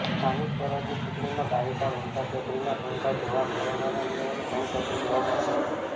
સ્થાનિક સ્વરાજની ચૂંટણીમાં ગાયિકા મમતા ચૌધરીના ઠુમકા જોવા કોરોનાના નિયમોનું ભંગ થતું જોવા મળ્યું હતું